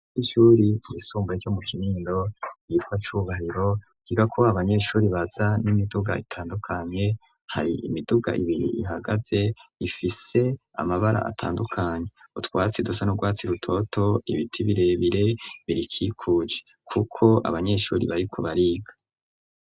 Ishure ryisumbuye ryo mu Kinindo ryitwa Cubahiro .Ryigako abanyeshuri baza n'imiduga itandukanye .Hari imiduga ibiri ihagaze ifise amabara atandukanye .Utwatsi dusa nurwatsi rutoto ibiti birebire birikikuje kuko abanyeshuri bari ku bariga.